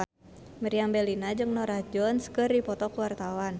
Meriam Bellina jeung Norah Jones keur dipoto ku wartawan